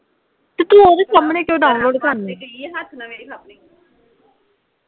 ਅਤੇ ਤੂੰ ਉਹਦੇ ਸਾਹਮਣੇ ਕਿਉਂ ਡਾਊਨਲੋਡ ਕਰਨੀ ਸੀ